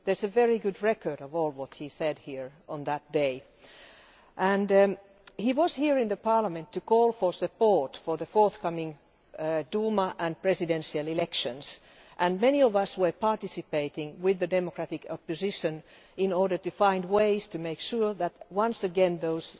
There is a very good record of all that he said here on that day. He was here in Parliament to call for support for the forthcoming Duma and presidential elections, and many of us were participating with the democratic opposition in order to find ways to make sure that once again those